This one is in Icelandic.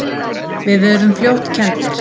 Við urðum fljótt kenndir.